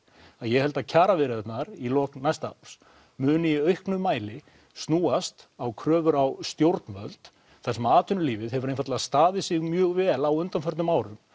að ég held að kjaraviðræðurnar í lok næsta árs muni í auknum mæli snúast á kröfur á stjórnvöld þar sem atvinnulífið hefur einfaldlega staðið sig mjög vel á undanförnum árum